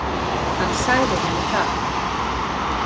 Hann sagði henni það.